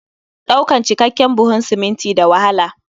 Ɗaukan cikakken buhun siminti da wahala